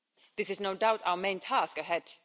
This is no doubt our main task ahead.